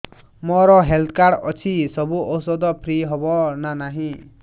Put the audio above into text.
ମୋର health card ଅଛି ସବୁ ଔଷଧ ଫ୍ରି ହବ ନା ନାହିଁ